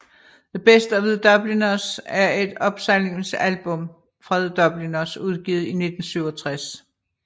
The Best of The Dubliners er et opsamlingsalbum fra The Dubliners udgivet i 1967